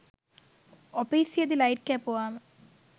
ඔපීසියෙදි light කැපුවම